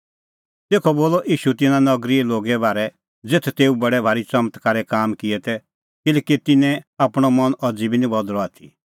तेखअ बोलअ ईशू तिन्नां नगरीए लोगे बारै ज़ेथ तेऊ बडै भारी च़मत्कारे काम किऐ तै किल्हैकि तिन्नैं निं आपणअ मन अज़ी बी बदल़अ आथी